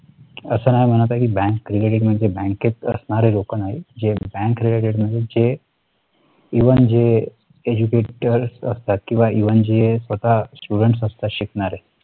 असं नाही म्हणत की bank credit मध्ये बँकेत असणारे लोक आहेत जे bankcredit म्हणजे. even जे educated असतात किंवा even जे स्वतः student असतात शिकणारे